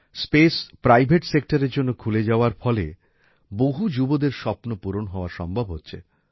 space private সেক্টরের জন্য খুলে যাওয়ার ফলে বহু যুবদের স্বপ্ন পূরণ হওয়া সম্ভব হচ্ছে